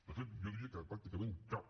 de fet jo diria que pràcticament cap